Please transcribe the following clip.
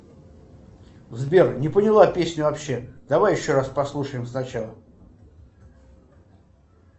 сбер не поняла песню вообще давай еще раз послушаем сначала